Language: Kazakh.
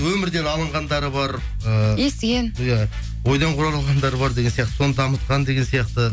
өмірден алынғандары бар і естіген иә ойдан құралғандар бар деген сияқты соны дамытқан деген сияқты